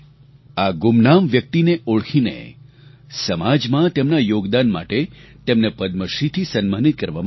આ ગુમનામ વ્યક્તિને ઓળખીને સમાજમાં તેમના યોગદાન માટે તેમને પદ્મશ્રીથી સન્માનિત કરવામાં આવ્યા